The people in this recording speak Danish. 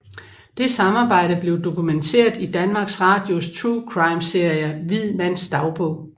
Det samarbejde blev dokumenteret i Danmarks Radios true crime serie Hvid mands dagbog